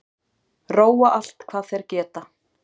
Róa allt hvað þeir geta